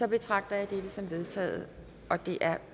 betragter jeg det som vedtaget det er